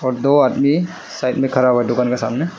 दो आदमी साइड में खड़ा हुआ दुकान के सामने।